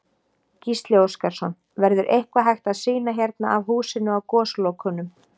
Gísli Óskarsson: Verður eitthvað hægt að sýna hérna af húsinu á Goslokunum?